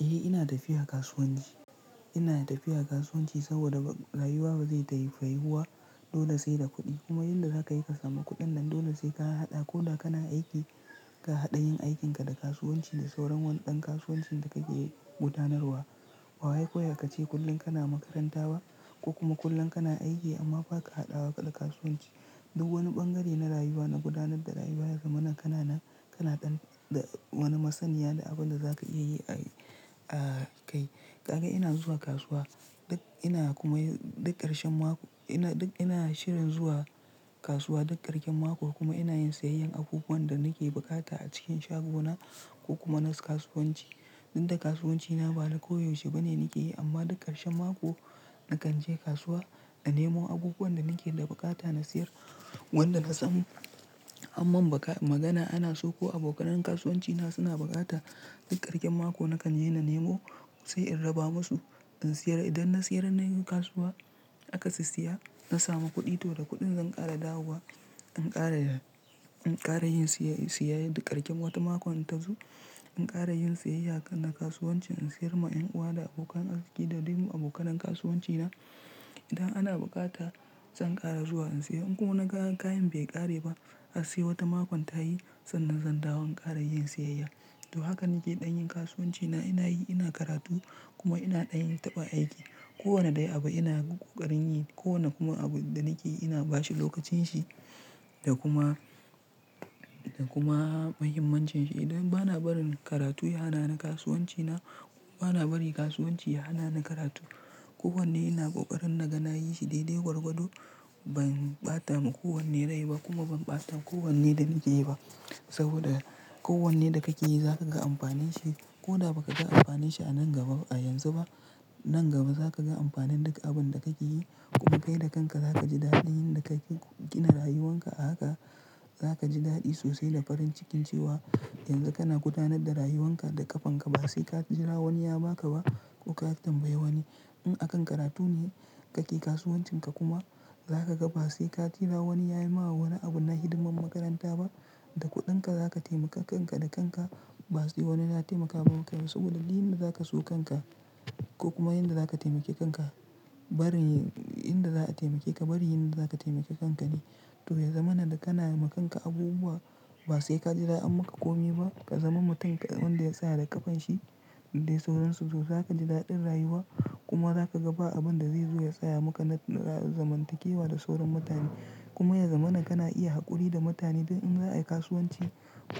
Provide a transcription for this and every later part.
Ni ina tafiya kasuwane ina tafiya kasuwanci saboda rayuwa ba zai tayi ba rayuwa dole sai da kuɗi kuma yanda za ka yi ka samu kuɗin nan dole sai ka haɗa ko da kana aiki ka haɗa yin aikinka da kasuwanci da sauran wani ɗan kasuwancin da kake gudanarwa. Ba wai kawai ka ce kullum kana makaranta ba ko kuma kullum kana aiki amma ba ka haɗawa kaɗa kasuwanci. Duk wani ɓangare na rayuwa na gudanar da rayuwa ya zama na kana nan kana dan da wani masaniya da abin da za ka iya yi a kai. Ka ga ina zuwa kasuwa. Duk ina kuma yi duk ƙarshen mako ina duk ina shirin zuwa kasuwa duk ƙarshen mako kuma ina yin siyayyar abubuwan da nake bukata a cikin shago na ko kuma na kasuwanci. Inda kasuwancina bana koyaushe bane nake yi amma duk ƙarshen mako nakan je kasuwa na nemo abubuwan da nake da bukata na siyar wanda na san amman magana ana so ko abokanan kasuwanci na suna bukata duk ƙarshen mako nakan je na nemo sai in raba masu in siyar. Idan na siyar na yi kasuwa aka sissiya na samu kuɗi toh da kuɗin zan ƙara dawowa in ƙara in ƙara yin siya siya duk ƙarshen wata makon inta zo in ƙara yin siyayya kan na kasuwanci in siyar ma ƴan uwa da abokan arziki da duk abokanan kasuwanci na. Idan ana bukata zan ƙara zuwa in siya in kuma na ga kayan bai ƙare ba hasse wata makon ta yi sannan zan dawo in ƙara yin siyayya. To haka nake ɗanyin kasuwancina ina yi ina karatu kuma ina ɗanyin taɓa aiki. Ko wanne dai abu ina ƙoƙarin yi ko wane kuma abu da nake ina bashi lokacin shi da kuma da kuma mahimmancin shi. Idan bana barin karatu ya hana ni kasuwancina kuma bana bari kasuwanci ya hana ni karatu. Ko wanne ina ƙoƙarin na ga na yi shi daidai gwargwado ban ɓata ma ko wanne rai ba kuma ban ɓata ko wanne da nake yi ba saboda ko wanne da kake yi za ka ga amfanin shi ko da ba ka ga amfanin shi a nan gaba a yanzu ba, nan gaba za ka ga amfanin duk abin da kake yi kuma kai da kanka za ka ji daɗin yan da kake gina rayuwanka a haka za ka ji daɗi sosai da farin cikin cewa yanzu kana gudanar da rayuwanka da ƙafanka ba sai ka jira wani ya ba ka ba ko ka tambayi wani. In akan karatu ne kake kasuwancin ka kuma za ka ga ba sai ka jira wani yayi ma wani abun na hidimar makaranta ba da kuɗin ka za ka taimaka kanka da kanka ba sai wani ya taimaka ba saboda duk inda za ka so kanka ko kuma yanda zaka taimaki kanka barin inda za'a taimake ka barin inda zaka tainaki kanka ne to ya zama na da kana yi ma kanka abubuwa ba sai ka jira an maka ƙomi ba ka zama mutum wanda ya tsaya da ƙafan shi da dai sauransu to za ka ji daɗin rayuwa kuma za ka ga ba abin da zai zo ya tsaya maka na zamantakewa da sauran mutane. Kuma ya zama na kana iya haƙuri da mutane dao in za a yi kasuwanci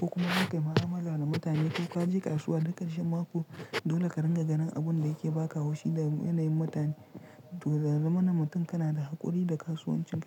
ko kuma za ka yi maa'ala da mutane ko ka je kasuwa duk ƙarshen mako dole ka rinƙa ganin abin da yake baka haushi da yanayin mutane to da zama na mutum kana da haƙuri da kasuwancin ka.